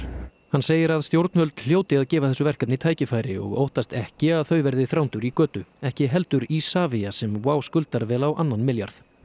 hann segir að stjórnvöld hljóti að gefa þessu verkefni tækifæri og óttast ekki að þau verði Þrándur í götu ekki heldur Isavia sem WOW skuldar vel á annan milljarð